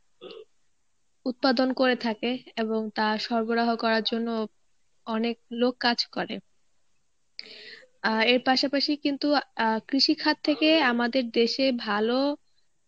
উৎপাদন করে থাকে এবং তা সরবরাহ করার জন্য অনেক লোক কাজ করে আহ এর পাশাপাশি কিন্তু আহ কৃষিখাত থেকে আমদের দেশে ভালো